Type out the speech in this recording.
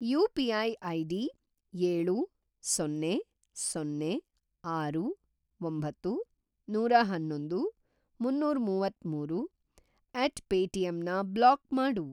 UPI. ID ಏಳು, ಸೊನ್ನೆ, ಸೊನ್ನೆ, ಆರು, ಒಂಬತ್ತು, ನೂರಅನ್ನೊಂದು, ಮುನ್ನೂರಮುವತ್ತಮೂರು ಎಟ್ ಪೇಟಿಎಮ್ ನ ಬ್ಲಾಕ್‌ ಮಾಡು